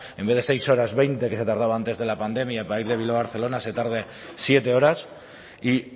en vez de seis horas veinte que se tardaba antes de la pandemia para ir de bilbao a barcelona se tarde siete horas y